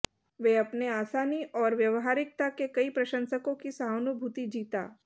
वे अपने आसानी और व्यावहारिकता के कई प्रशंसकों की सहानुभूति जीता